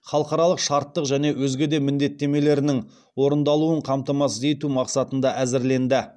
халықаралық шарттық және өзге де міндеттемелерінің орындалуын қамтамасыз ету мақсатында әзірленді